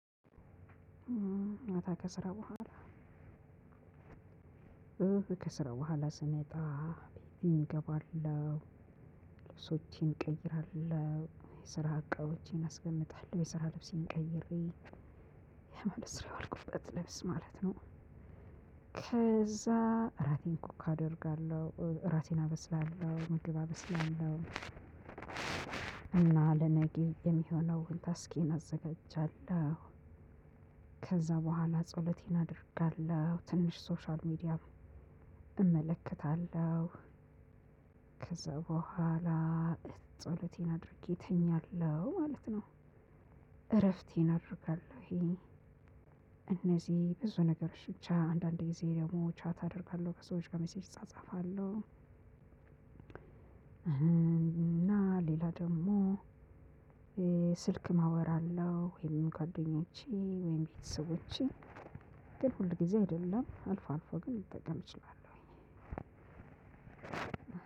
ማታ ከስራ በኋላ ከስራ በኋላ ስመጣ ጅም እገባለሁ ልብሶቼን እቀይራለሁ የስራ አቃወቼን አስቀምጣለሁ የስራ ልብሴን ቀይሬ የመስሪያ አልኩበት ልብስ ማለት ነው። ከዛ ራቴን ኩክ አደርጋለሁ ራሴን አበስላለሁ ምግብ አበስላለሁ። እና ለነገ የሚሆነው ታስኪየን አዘጋጃለሁ። ከዛ በኋላ ጸሎቴን አደርጋለሁ ትንሽ ሶሻል ሚዲያ እመለከታለሁ። ከዛ በኋላ ጸሎቴን አድርጌ እተኛለሁ ማለት ነው። እረፍቴን አደርጋለሁ። እነዚህ ብዙ ነገር ብቻ አንዳንዴ ደግሞ ቻት አደርጋለሁ ከሰዎች ጋር ሜሴጅ እጻጻፋለሁ። እና ሌላ ደግሞ ስልክ አወራለሁ ወይም ከጎደኞቸ ወይም ከቤተሰቦቸ ግን ሁልጊዜ አይደለም አልፎ አልፎ ግን ልጠቀም እችላለሁ።